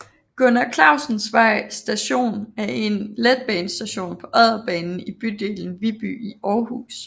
Gunnar Clausensvej Station er en letbanestation på Odderbanen i bydelen Viby i Aarhus